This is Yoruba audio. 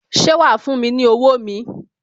Ṣé wa fún mi ní owó mi?